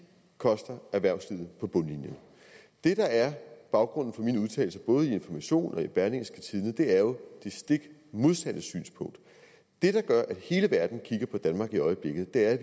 koster erhvervslivet på bundlinjen det der er baggrunden for mine udtalelser både til information og til berlingske er jo det stik modsatte synspunkt det der gør at hele verden kigger på danmark i øjeblikket er at